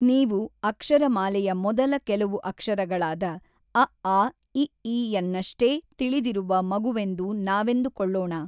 ನೀವು ಅಕ್ಷರಮಾಲೆಯ ಮೊದಲ ಕೆಲವು ಅಕ್ಷರಗಳಾದ ಅಆಇಈ ಯನ್ನಷ್ಟೇ ತಿಳಿದಿರುವ ಮಗುವೆಂದು ನಾವೆಂದುಕೊಳ್ಳೋಣ.